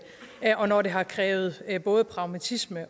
og når det har krævet både pragmatisme